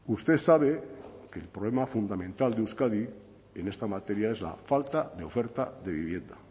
usted sabe que el problema fundamental de euskadi en esta materia es la falta de oferta de vivienda